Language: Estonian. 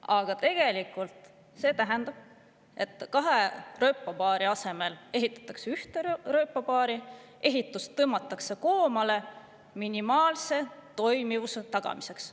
Aga tegelikult see tähendab, et kahe rööpapaari asemel ehitatakse ühte rööpapaari, ehitust tõmmatakse koomale minimaalse toimivuse tagamiseks.